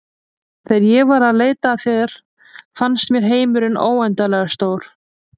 Þegar ég var að leita að þér fannst mér heimurinn óendanlega stór.